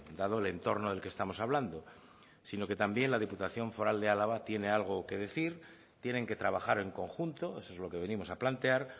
dado el entorno del que estamos hablando sino que también la diputación foral de álava tiene algo que decir tienen que trabajar en conjunto eso es lo que venimos a plantear